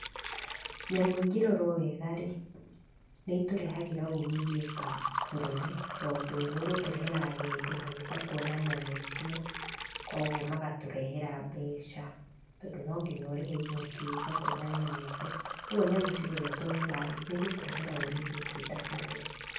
Nyamũ ingĩrorwo wega rĩ, nĩ itũrehagĩra umithio ta bũrũri tondũ nĩ ũgũtũrehera agendi magĩũka kũona nyamũ icio kogwo magatũrehera mbeca, tondũ no nginya ũrĩhe igoti ũgĩũka kũona nyamũ icio. Koguo nyamũ ciroretwo wega rĩ, nĩigũtũrehera umithio twĩ ta bũrũri.